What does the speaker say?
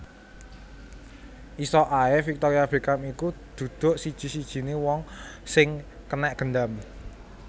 Iso ae Victoria Beckham iki duduk siji sijine wong sing kenek gendam